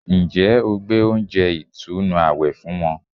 Ǹjẹ́ o gbé oúnjẹ ìtùnú àwẹ̀ fún wọn